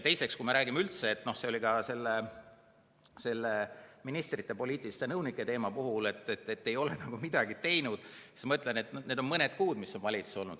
Teiseks, kui me räägime üldse sellest – see oli ka ministrite poliitiliste nõunike puhul teema –, et ei ole nagu midagi tehtud, siis ma ütlen, et on ainult mõni kuu, kui see valitsus on olnud.